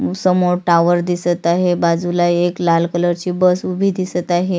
समोर टावर दिसत आहे बाजूला एक लाल कलर ची बस उभी दिसत आहे.